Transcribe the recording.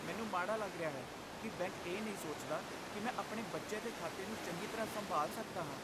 ਮੈਨੂੰ ਮਾੜਾ ਲੱਗ ਰਿਹਾ ਹੈ ਕਿ ਬੈਂਕ ਇਹ ਨਹੀਂ ਸੋਚਦਾ ਕਿ ਮੈਂ ਆਪਣੇ ਬੱਚੇ ਦੇ ਖਾਤੇ ਨੂੰ ਚੰਗੀ ਤਰ੍ਹਾਂ ਸੰਭਾਲ ਸਕਦਾ ਹਾਂ।